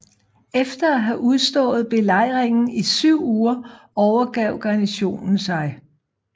Efter at have udstået belejringen i syv uger overgrav garnisonen sig